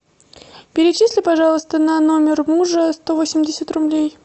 перечисли пожалуйста на номер мужа сто восемьдесят рублей